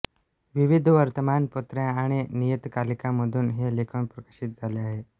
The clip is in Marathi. विविध वर्तमानपत्रे आणि नियतकालिकांमधून हे लेखन प्रकाशित झाले आहे